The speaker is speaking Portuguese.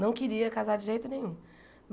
Não queria casar de jeito nenhum.